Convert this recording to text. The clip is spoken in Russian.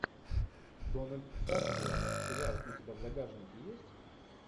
дональд сазерленд сериал у тебя в загашнике есть